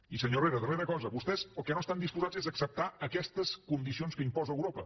i senyor herrera darrera cosa vostès el que no estan disposats és a acceptar aquestes condicions que imposa europa